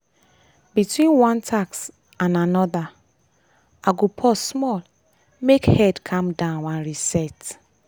between one task and another i go pause small make head calm down and reset.